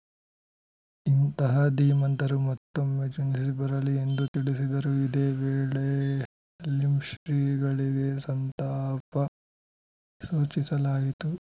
ಇಂತಹ ಧೀಮಂತರು ಮತ್ತೊಮ್ಮೆ ಜನಿಸಿ ಬರಲಿ ಎಂದು ತಿಳಿಸಿದರು ಇದೇ ವೇಳೆ ಲಿಂ ಶ್ರೀಗಳಿಗೆ ಸಂತಾಪ ಸೂಚಿಸಲಾಯಿತು